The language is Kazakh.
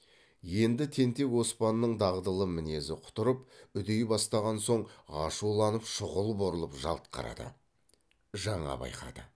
енді тентек оспанның дағдылы мінезі құтырып үдей бастаған соң ашуланып шұғыл бұрылып жалт қарады жаңа байқады